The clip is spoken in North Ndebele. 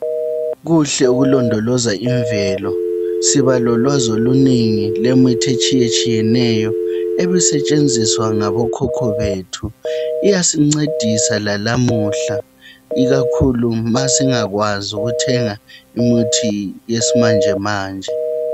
Kuhle ukulondoloza imvelo. Sibalolwazi olunengi lwemithi etshiyeneyo ebisetshenziswa ngabokhokho bethi. Iyasincedisa lalamuhla ikakhulu ma singakwazi ukuthenga imithi yalezinsuku.